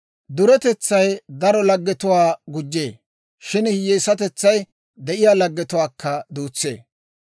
Duretetsay daro laggetuwaa gujjee; shin hiyyeesatetsay de'iyaa laggetuwaakka duutsee.